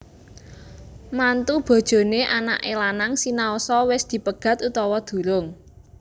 Mantu bojoné anaké lanang sinaosa wis dipegat utawa durung